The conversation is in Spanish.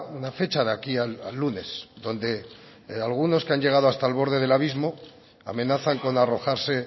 una fecha de aquí al lunes donde algunos que han llegado hasta el borde del abismo amenazan con arrojarse